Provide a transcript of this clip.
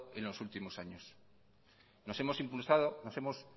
en los últimos años nos hemos